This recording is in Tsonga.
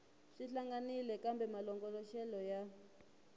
swi hlangahlanganile kambe malongoloxelo ya